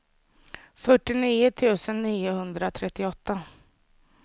fyrtionio tusen niohundratrettioåtta